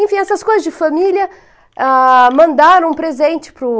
Enfim, essas coisas de família ah, mandaram um presente para o